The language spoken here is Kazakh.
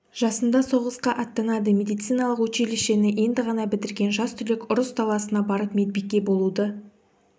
жасында соғысқа аттанады медициналық училищені енді ғана бітірген жас түлек ұрыс даласына барып медбике болуды